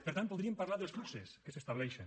per tant podríem parlar dels fluxos que s’estableixen